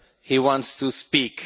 He wants to speak.